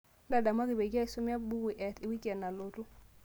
ntadamuaki peyie aisoma embuku te wiki nalotu